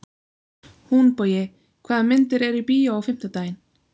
Húnbogi, hvaða myndir eru í bíó á fimmtudaginn?